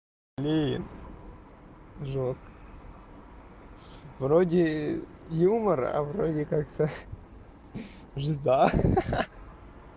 блин жёстко вроде юмор а вроде как-то жиза ха-ха